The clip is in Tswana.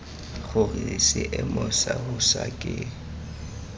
gore seemo sa bosa ke